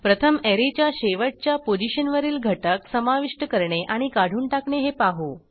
प्रथम ऍरेच्या शेवटच्या पोझिशनवरील घटक समाविष्ट करणे आणि काढून टाकणे हे पाहू